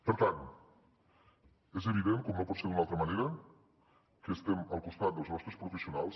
per tant és evident com no pot ser d’una altra manera que estem al costat dels nostres professionals